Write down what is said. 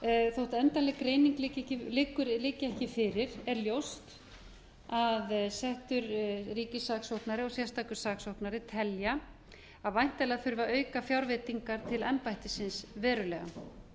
þótt endanleg greining liggi ekki fyrir er ljóst að settur ríkissaksóknari og sérstakur saksóknari telja að væntanlega þurfi að auka fjárveitingar til embættisins verulega endanleg niðurstaða